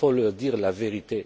Il faut leur dire la vérité.